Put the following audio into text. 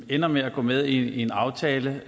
ender med at gå med i en aftale